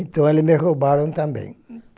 Então ele me roubaram também.